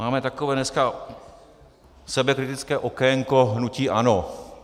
Máme takové dneska sebekritické okénko hnutí ANO.